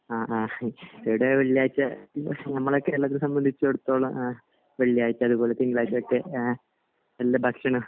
അഹ് അഹ് ഇവിടെ വെള്ളിയാഴ്ച നമ്മളെ കേരളത്തെ സംബന്ധിച്ചടുത്തോളം വെള്ളിയാഴ്ചകൾ തിങ്കളാഴ്ച ഒക്കെ നല്ല ഭക്ഷണം